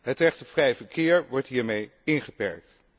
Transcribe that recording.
Het recht op vrij verkeer wordt hiermee ingeperkt.